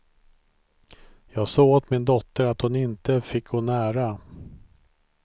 Jag sa åt min dotter att hon inte fick gå nära.